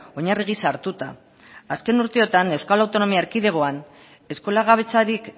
oinarri gisa hartuta azken urteotan euskal autonomia erkidegoan eskolagabetzarik